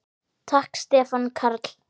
Takk Stefán Karl.